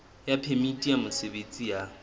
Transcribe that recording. ya phemiti ya mosebetsi ya